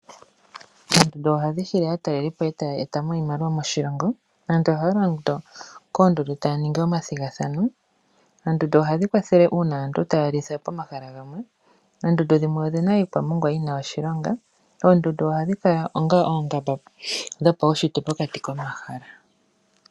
Oondundu ohadhi hili aatalelipo etaya etamo iimaliwa moshilongo. Aantu ohaya londo koondundu taya ningi omathigathano. Oondundu ohadhi kwathele uuna aantu taya litha pomahala gamwe. Oondundu dhimwe odhina iikwamongwa yina oshilonga. Oondundu ohadhi kala onga oongamba dhopaushitwe pokati komahala.